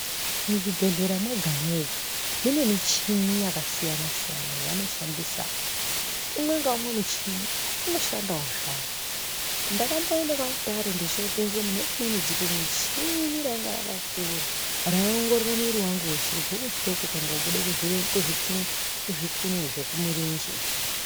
Muzvi bhedhlera mwega mwega mune michini yakasiyana siyana yavano shandisa umwe ngaumwe muchini uno shandawo zvawo ndakamboende kwa Mutare ndochopinzwe mune imweni dzikumuchini rainge rakakura rai ongorere mwiri wangu weshe kubve kuhloko kuenda kobuda kuzvikunwe zvekumirenje